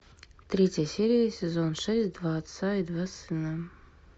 третья серия сезон шесть два отца и два сына